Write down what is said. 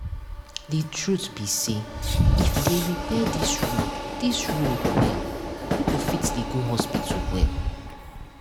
the truth be say if they repair this road this road well people fit dey go hospital well